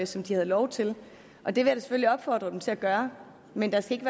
som de havde lov til og det vil jeg opfordre dem til at gøre men der skal